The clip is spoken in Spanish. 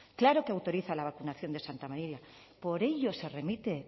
claro que autoriza la vacunación de santa marina por ello se remite